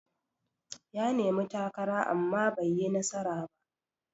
Ya nemi takara amma baiyi nasara ba.